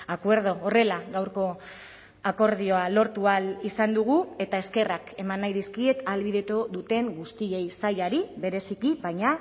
acuerdo horrela gaurko akordioa lortu ahal izan dugu eta eskerrak eman nahi dizkiet ahalbidetu duten guztiei sailari bereziki baina